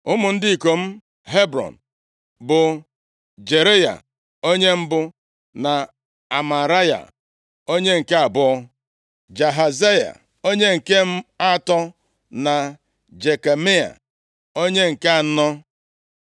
Ụmụ ndị ikom Hebrọn bụ Jereaya onye mbụ, na Amaraya, onye nke abụọ, Jahaziel onye nke atọ, na Jekameam, onye nke anọ.